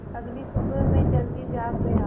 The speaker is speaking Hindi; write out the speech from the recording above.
अगली सुबह मैं जल्दी जाग गया